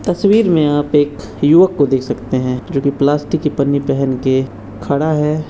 तस्वीर मे आप एक युवक को देख सकते हैं जो की प्लास्टिक की पन्नी पेहेन के खड़ा है।